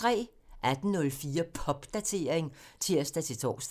18:04: Popdatering (tir-tor)